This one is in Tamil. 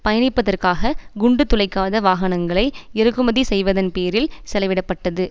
பயணிப்பதற்காக குண்டு துளைக்காத வாகனங்களை இறக்குமதி செய்வதன் பேரில் செலவிடப்பட்டது